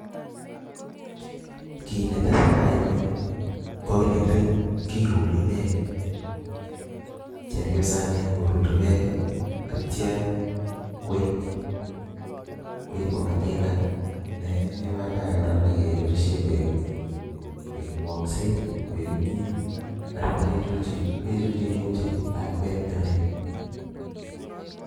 Kit netesetai en yuu ko kin kekilen kiruri peek, chepyosanii koruri peek kii ak ityo koib koib koba tinga nee badaye Koraa nyokeboishen koik kekwonset koik kimiet anan kichulchi kechulchinen uji lakwet nemingin.